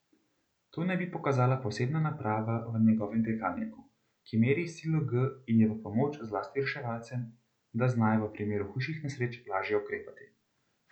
To naj bi pokazala posebna naprava v njegovem dirkalniku, ki meri silo G in je v pomoč zlasti reševalcem, da znajo v primeru hujših nesreč lažje ukrepati.